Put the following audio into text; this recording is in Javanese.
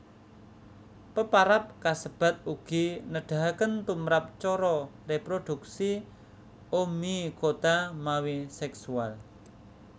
Peparab kasebat ugi nedahaken tumrap cara réprodhuksi Oomycota mawi seksual